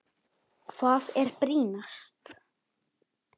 Hvað er brýnast?